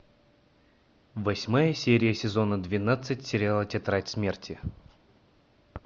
восьмая серия сезона двенадцать сериала тетрадь смерти